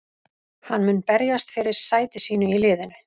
Hann mun berjast fyrir sæti sínu í liðinu.